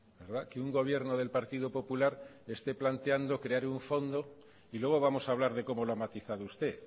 verdad que un gobierno del partido popular le esté planteando crear un fondo y luego vamos a hablar de cómo lo ha matizado usted